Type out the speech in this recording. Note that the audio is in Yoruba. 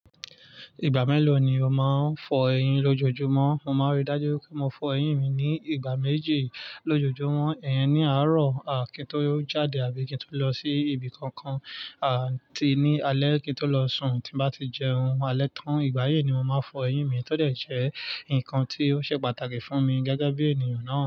Ìgbà mélòó ni o máa ń fọ eyín lójojúmọ́? Mo máa ríi dájú wipé mo fọ eyín mi ní ìgbà méjì lójojúmọ́. Iyín ní àárọ̀ à kí n tó jáde àbí kí n tó lọ sí ibi kankan, àti ní alẹ́ kí n tó lọ sùn. Tí n bá tí jẹun alẹ́ tán, ìgbà yi ni mo máa n fọ eyín mi. To dẹ́ je ǹkan tí ó ṣe pàtàkì fún mi gẹ́gẹ́ bí ènìyàn náà.